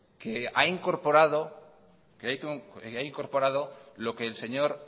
que ha incorporado lo que el señor